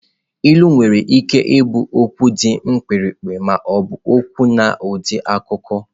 Ilu nwere ike ịbụ okwu dị mkpirikpi ma ọ bụ kwuo n'ụdị akụkọ.